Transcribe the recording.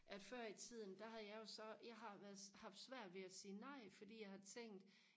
at før i tiden der havde jeg jo så jeg har været haft svært ved at sige nej fordi jeg har tænkt